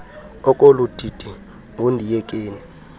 ekolu didi ngundiyekeni